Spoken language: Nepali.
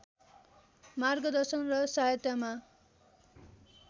मार्गदर्शन र सहायतामा